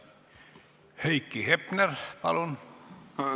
Heiki Hepner, palun!